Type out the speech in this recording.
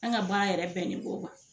An ka baara yɛrɛ bɛnni b'o ma.